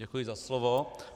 Děkuji za slovo.